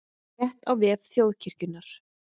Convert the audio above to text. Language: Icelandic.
Frétt á vef Þjóðkirkjunnar